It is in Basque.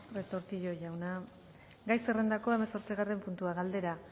retortillo jauna gai zerrendako hamazortzigarren puntua galdera